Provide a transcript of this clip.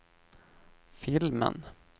filmen